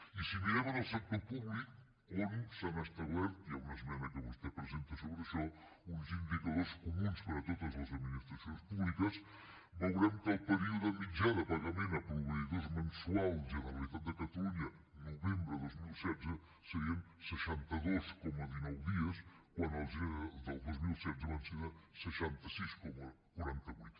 i si mirem en el sector públic on s’han establert hi ha una esmena que vostè presenta sobre això uns indicadors comuns per a totes les administracions públiques veurem que el període mitjà de pagament a proveïdors mensual generalitat de catalunya novembre dos mil setze serien seixanta dos coma dinou dies quan el gener del dos mil setze van ser de seixanta sis coma quaranta vuit